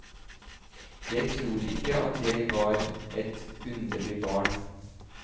Jeg tror ikke at jeg var et underlig barn.